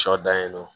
Sɔ dan ye nɔ